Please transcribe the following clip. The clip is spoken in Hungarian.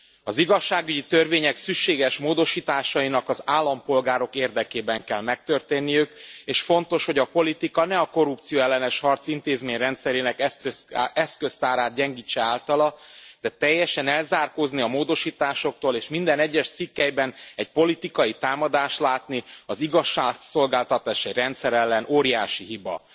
Az igazságügyi törvények szükséges módosításainak az állampolgárok érdekében kell megtörténniük és fontos, hogy a politika ne a korrupcióellenes harc intézményrendszerének eszköztárát gyengítse általa, de teljesen elzárkózni a módosításoktól és minden egyes cikkelyben egy politikai támadást látni az igazságszolgáltatási rendszer ellen óriási hiba.